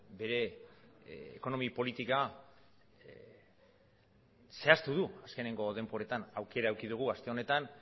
bere ekonomi politika zehaztu du azkeneko denboretan aukera eduki dugu aste honetan